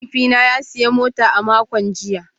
Mahaifina ya sayi mota a makon jiya